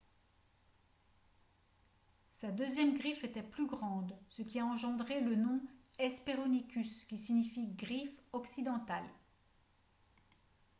sa deuxième griffe était plus grande ce qui a engendré le nom hesperonychus qui signifie « griffe occidentale »